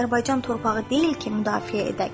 Azərbaycan torpağı deyil ki, müdafiə edək.